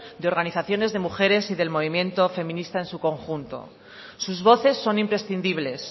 de organizaciones de mujeres y del movimiento feminista en su conjunto sus voces son imprescindibles